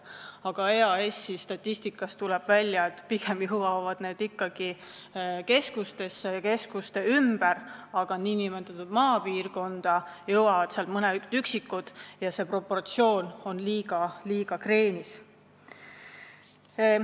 Aga EAS-i statistikast tuleb välja, et pigem jõuavad need ikkagi keskustesse või nende ümbrusse, nn maapiirkonda jõuavad mõned üksikud toetused – see proportsioon on liiga kreenis.